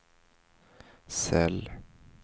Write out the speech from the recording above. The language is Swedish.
cell